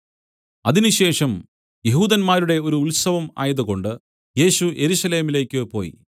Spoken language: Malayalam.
അതിനുശേഷം യെഹൂദന്മാരുടെ ഒരു ഉത്സവം ആയതുകൊണ്ട് യേശു യെരൂശലേമിലേക്കു പോയി